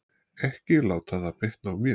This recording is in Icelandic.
Ekki láta það bitna á mér.